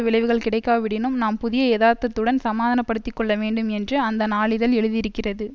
விளைவுகள் கிடைக்காவிடினும் நாம் புதிய யதார்த்தத்துடன் சமாதானப்படுத்திக்கொள்ளவேண்டும் என்று அந்த நாளிதழ் எழுதியிருக்கிறது